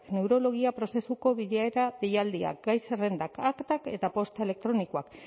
neurologia prozesuko bilera deialdiak gai zerrendak aktak eta posta elektronikoak